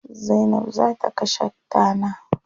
Zainab za ta kashe tana.